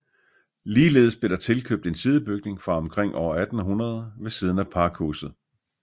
Ligeledes blev der tilkøbt en sidebygning fra omkring år 1800 ved siden af pakhuset